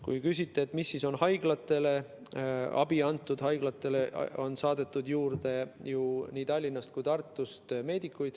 Kui te küsite, mis abi on haiglatele antud, siis haiglatesse on saadetud juurde ju meedikuid nii Tallinnast kui ka Tartust.